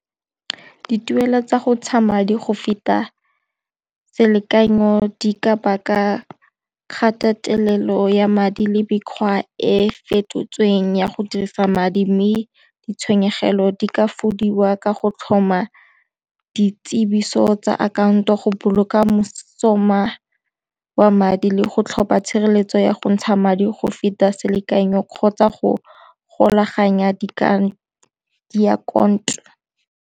Dituelo tsa go ntsha madi go feta selekanyo di ka baka kgatelelo ya madi le mekgwa e fetotsweng ya go dirisa madi mme ditshenyegelo di ka fokodiwa ka go tlhoma di tsiboso tsa akhaonto go boloka mosola wa madi le go tlhopha tshireletso ya go ntsha madi go feta selekanyo kgotsa go golaganya di akanto.